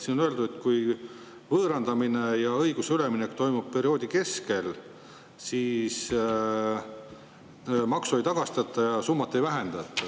Siin on öeldud, et kui võõrandamine ja õiguse üleminek toimub perioodi keskel, siis maksu ei tagastata ja summat ei vähendata.